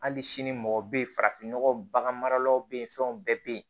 Hali sini mɔgɔ bɛ yen farafin nɔgɔ bagan maralaw bɛ yen fɛnw bɛɛ bɛ yen